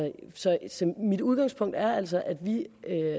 mit udgangspunkt er altså at vi